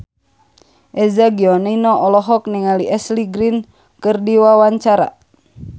Eza Gionino olohok ningali Ashley Greene keur diwawancara